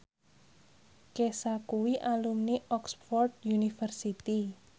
Kesha kuwi alumni Oxford university